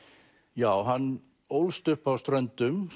já hann ólst upp á Ströndum